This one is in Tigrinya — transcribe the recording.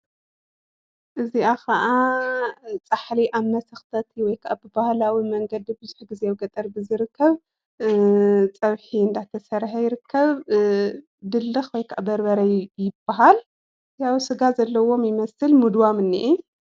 እዚኣ ከዓ ፃሕሊ ኣብ መሰክተት ወይከዓ ብባህላዊ መንገዲ ብዙሕ ግዜ ኣብ ገጠር እዩ ዝርከብ። ፀብሒ እንዳተሰርሐ ይርከብ ድልክ ወይከዓ በርበረ ይባሃል። ስጋ ዘለዎ ይመሰል ምደዋም እኒአ።